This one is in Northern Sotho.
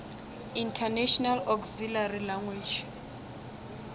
international auxiliary language